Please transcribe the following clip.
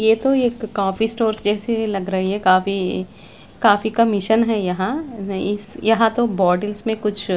ये तो एक कॉपी स्टोर्स जैसी ही लग रही है काफ़ी काफी कमीशन है यहाँ यहाँ तो बोर्डिंग्स में कुछ--